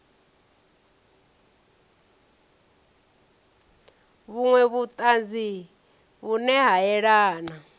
vhunwe vhutanzi vhune ha yelana